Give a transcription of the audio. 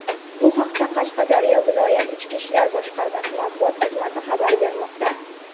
Bu haqda Qashqadaryo viloyat Ichki ishlar boshqarmasi matbuot xizmati xabar bermoqda.